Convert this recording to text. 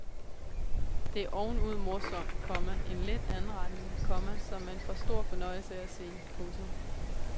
Det er ovenud morsomt, komma en let anretning, komma som man får stor fornøjelse af at se. punktum